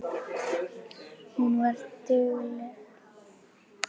Hún var dugleg.